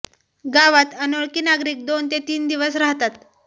गावात अनोळखी नागरिक दोन ते तीन दिवस राहतात